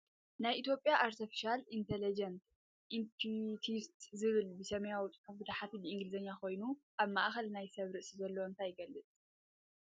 ናይ ኢትዮጵያ አርተፊሻል ኢንተለጀንት ኢንስቲትዩት ዝብል ብሰማያዊ ፅሑፍ ብታሕቲ ብኢንግሊዝ ኮይኑ ኣብ ማእከሉ ናይ ሰብ ርእሲ ዘለዎ እንታይ ይገልፅ ?